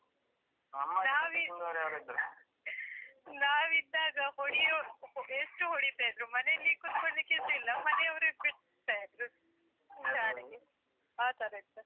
ಪೆಟ್ಟು ತಿಂದವರು ಯಾರು ಇದ್ರ ? ನಾವಿದ್ದಾಗ ಹೊಡಿಯೋ ಎಷ್ಟು ಹೊಡೀತ ಇದ್ರು ಮನೆಯಲ್ಲಿ ಕೂತ್ಕೊಳ್ಳಿಕ್ಕೆಸ ಇಲ್ಲ ಮನೆಯವರೇ ಬಿಡ್ತಾ ಇದ್ರು. ಆತರ ಇತ್ತು.